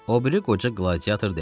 O biri qoca qladiator dedi.